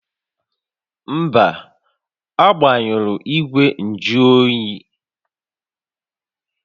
Mba, agbanyụrụ ígwè njụ oyi